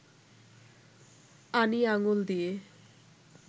আনি আঙুল দিয়ে